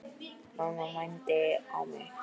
Mamma mændi á mig.